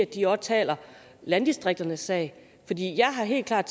de også taler landdistrikternes sag jeg har helt klart